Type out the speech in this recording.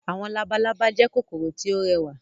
Àwọn labalábá jẹ́ kòkòrò tí ó rẹwà.